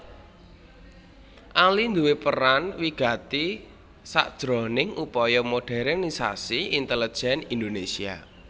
Ali nduwé peran wigati sakjroning upaya modernisasi intelejen Indonesia